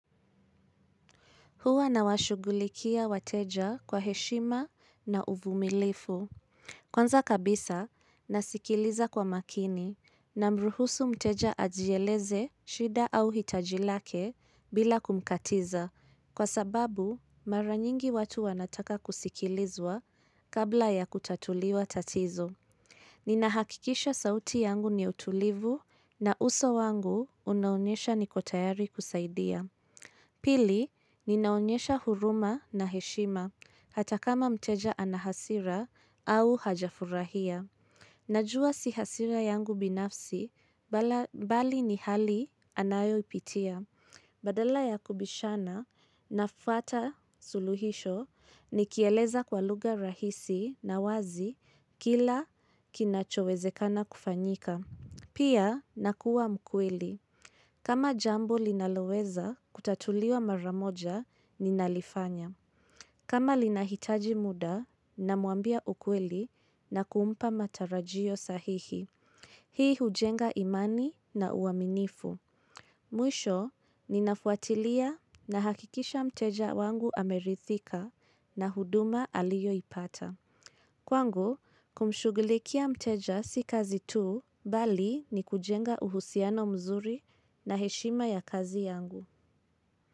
Huwa na washugulikia wateja kwa heshima na uvumilifu. Kwanza kabisa nasikiliza kwa makini na mruhusu mteja ajieleze shida au hitajilake bila kumkatiza kwa sababu mara nyingi watu wanataka kusikilizwa kabla ya kutatuliwa tatizo. Ninahakikisha sauti yangu ni utulivu na uso wangu unaonyesha niko tayari kusaidia. Pili, ninaonyesha huruma na heshima, hata kama mteja anahasira au hajafurahia. Najua sihasira yangu binafsi, bala bali ni hali anayo ipitia. Badala ya kubishana, nafata suluhisho, nikieleza kwa lugha rahisi na wazi kila kinachowezekana kufanyika. Pia nakua mkweli. Kama jambo linaloweza kutatuliwa maramoja ni nalifanya. Kama lina hitaji muda namwambia ukweli na kuumpa matarajio sahihi. Hii hujenga imani na uaminifu. Mwisho, ninafuatilia na hakikisha mteja wangu amerithika na huduma aliyo ipata. Kwangu, kumshughulikia mteja si kazi tu, bali ni kujenga uhusiano mzuri na heshima ya kazi yangu.